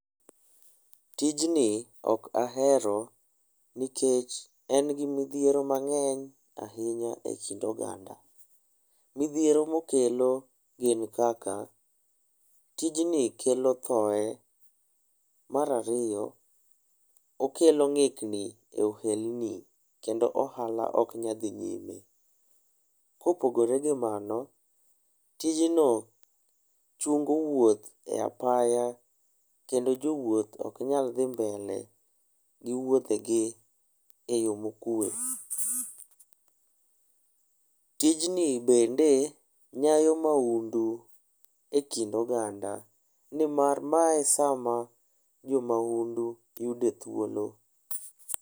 Tijni okahero nikech en gi midhiero mang'eny ahinya e kind oganda. Midhiero mokelo gin kaka; tijni kelo thoe. Marario, okelo ng'ikni e ohelni kendo ohala oknyal dhi nyime. Kopogore gi mano, tijno chungo wuoth e apaya, kendo jowuoth oknyal dhi mbele gi wuodhegi e yoo mokwe. Tijni bende nyayo maundu e kind oganda nimar mae sama jomaundu yude thuolo.